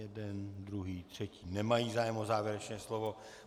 Jeden, druhý, třetí, nemají zájem o závěrečné slovo.